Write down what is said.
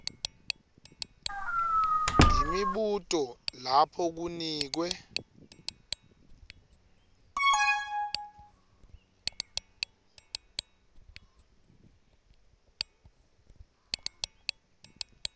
imibuto lapho kunikwe